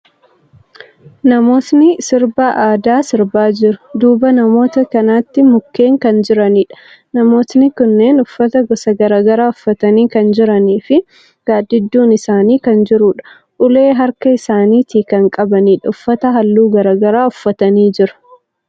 Namootni sirba aadaa sirbaa jiru. Duuba namoota kanaatti mukkeen kan jiraniidha. Namootni kunneen uffata gosa garagaraa uffatanii kan jiranii fi gaaddidduun isaanii kan jiruudha. Ulee harka isaanitii kan qabaniidha. Uffata haalluu garagaraa uffatanii jiru.